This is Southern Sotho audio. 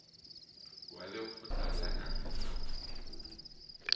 wa lekgotla la naha la